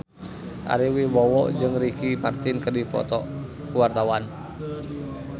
Ari Wibowo jeung Ricky Martin keur dipoto ku wartawan